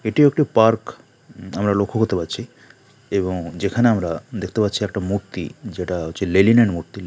এটি একটি পার্ক আমরা লক্ষ্য করতে পারছি এবং যেখানে আমরা দেখতে পাচ্ছি একটা মূর্তি যেটা হচ্ছে লেনিনের মূর্তি--